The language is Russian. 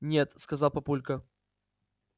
нет сказал папулька